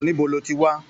Níbo lo tí wá?